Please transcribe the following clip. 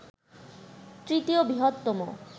তৃতীয় বৃহত্তম